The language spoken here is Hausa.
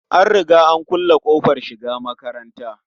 An riga an kulle ƙofar shiga makatanta.